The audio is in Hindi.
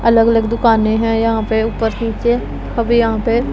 अलग-अलग दुकाने है यहां पे ऊपर नीचे। अभी यहां पे--